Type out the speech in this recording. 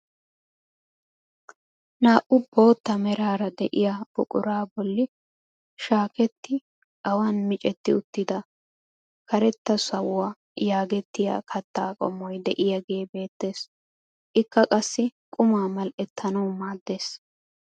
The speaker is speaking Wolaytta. Naa"u bootta meraara de'iyaa buquraa bolli shaaketti awaan micetti uttida "Karetta sawuwa" yaagettiyaa kaatta qommoy de'iyaagee beettees. ikka qassi qumma mal"etanwu maaddees.